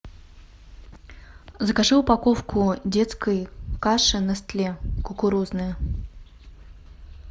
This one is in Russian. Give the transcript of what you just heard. закажи упаковку детской каши нестле кукурузная